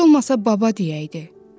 Heç olmasa baba deyəydi.